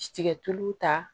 Tigɛ tulu ta